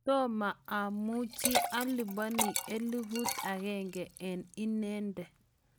tomo amuchi alipani elfut agenge eng inende